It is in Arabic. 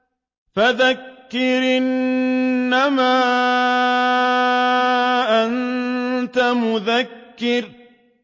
فَذَكِّرْ إِنَّمَا أَنتَ مُذَكِّرٌ